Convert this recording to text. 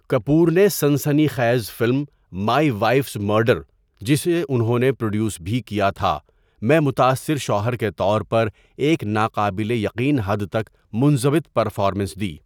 کپور نے سنسنی خیز فلم مائی وائفز مرڈر، جسے انہوں نے پروڈیوس بھی کیا تھا، میں متاثر شوہر کے طور پر ایک ناقابل یقین حد تک منضبط پرفارمنس دی۔